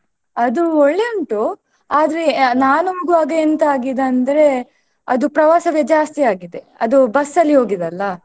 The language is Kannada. ಅದೂ ಒಳ್ಳೆ ಉಂಟು, ಆದ್ರೆ ನಾನು ಹೋಗುವಾಗ ಎಂತ ಅಗಿದಂದ್ರೆ ಅದು ಪ್ರವಾಸವೇ ಜಾಸ್ತಿ ಆಗಿದೆ ಅದು bus ಅಲ್ಲಿ ಹೋಗಿದಲ್ಲಾ.